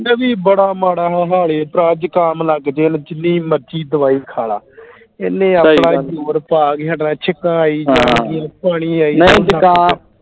ਇਹ ਵੀ ਬੜਾ ਮਾੜਾ ਮਾਮਾ ਹਾਲ ਈ ਭਰਾ ਜ਼ੁਕਾਮ ਲੱਗ ਜੇ ਜਿੰਨੀ ਮਰਜੀ ਦਵਾਈ ਖਾਲਾ ਇਹਨੇ ਆਪਣਾ ਜ਼ੋਰ ਪਾ ਕੇ ਹਟਣਾ ਛਿਁਕਾਂ ਆਈ ਜਾਣਗੀਆਂ ਪਾਣੀ ਆਈ ਜਾਊਗਾ